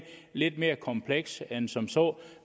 lidt mere komplekst end som så